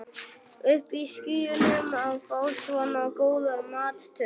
Uppi í skýjunum að fá svona góðar móttökur.